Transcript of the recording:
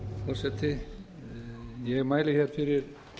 forseti ég mæli hér fyrir